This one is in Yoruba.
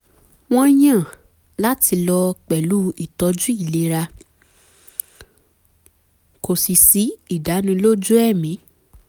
wọ́n yàn láti lọ pẹ̀lú îtọ̌jǔ îlera kò sì sí ìdánilójú ẹ̀mí